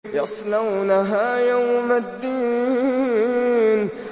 يَصْلَوْنَهَا يَوْمَ الدِّينِ